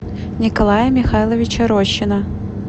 николая михайловича рощина